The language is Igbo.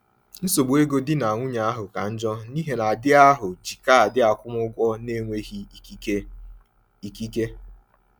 Nsogbu ego di na nwunye ahụ ka njọ n’ihi na di ahụ ji kaadị akwụmụgwọ n’enweghị ikike. ikike.